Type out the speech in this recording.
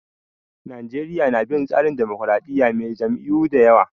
Najeriya na bin tsarin dimokuradiyya mai jam'iyyu da yawa.